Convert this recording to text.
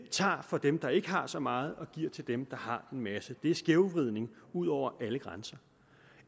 tager fra dem der ikke har så meget og giver til dem der har en masse det er skævvridning ud over alle grænser